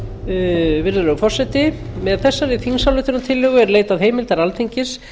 mér virðulegi forseti með þessari þingsályktunartillögu er leitað heimildar alþingis